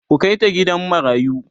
ku Kai ta gidan marayu!